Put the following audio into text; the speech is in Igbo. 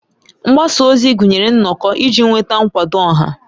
Mgbasa ozi gụnyere nnọkọ iji nweta nkwado ọha.